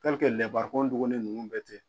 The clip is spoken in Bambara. duguni ninnu bɛ ten.